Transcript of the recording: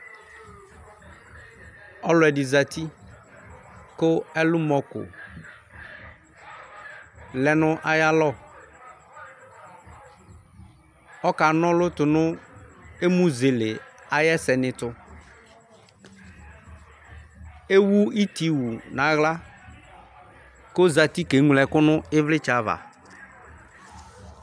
Ɔlʋ ɛdɩ zǝti, kʋ ɛlʋmɔko lɛ nʋ ayalɔ Ɔkanɔlʋ tu nʋ emuzele ayɛsɛ ni ɛtʋ Ewu ɩtɩwʋ nʋ aɣla, kʋ ozǝti keŋlo ɛkʋ nʋ ivlitsɛ ava